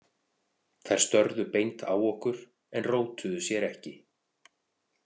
Þær störðu beint á okkur en rótuðu sér ekki.